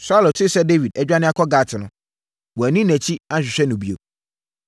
Saulo tee sɛ Dawid adwane kɔ Gat no, wanni nʼakyi anhwehwɛ no bio.